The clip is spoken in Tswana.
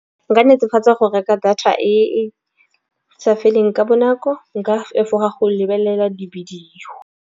Nka netefatsa go reka data e sa feleng ka bonako, nka fa efoga go lebelela di-video.